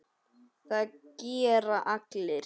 Það gera allir.